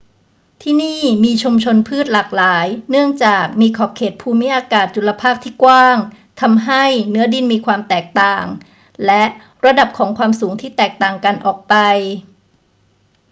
ที่นี่มีชุมชนพืชหลากหลายเนื่องจากมีขอบเขตภูมิอากาศจุลภาคที่กว้าง ทำให้เนื้อดินมีความแตกต่างและระดับของความสูงที่แตกต่างกันออกไป